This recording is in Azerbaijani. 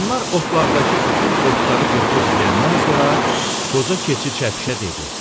Onlar otlaqdakı bütün otları qırpıb yeyəndən sonra qoca keçi çəpişə dedi: